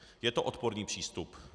Je to odporný přístup.